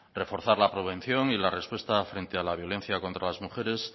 reforzar la prevención y la respuesta frente a la violencia contra las mujeres